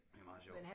Det er meget sjovt